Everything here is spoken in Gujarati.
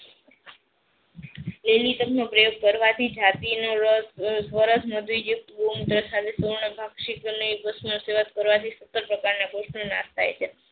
લેલીતમ નો આ પ્રયોગ કરવાથી જાતિ નાશ થાય છે.